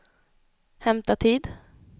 hämta tid